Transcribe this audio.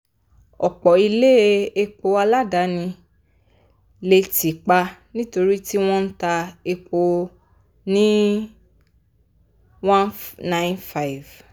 ọ̀pọ̀ ilé epo aládàáni lè tì pa nítorí tí wọ́n n ta epo lé n195.